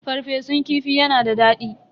Farfesun kifi yana da daɗi.